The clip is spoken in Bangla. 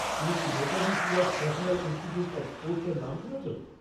তুমি কি Netaji Subhash national institute of স্পোর্টসের নাম শুনেছ?